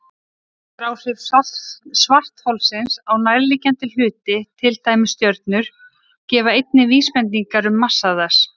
Þyngdaráhrif svartholsins á nærliggjandi hluti, til dæmis stjörnur, gefa einnig vísbendingar um massa þess.